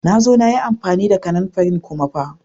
Na zo na yi amfani da kananfarin kuma ba.